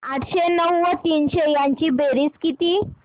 आठशे नऊ व तीनशे यांची बेरीज किती